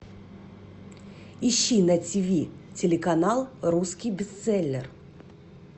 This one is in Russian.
ищи на тв телеканал русский бестселлер